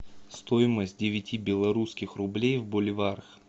стоимость девяти белорусских рублей в боливарах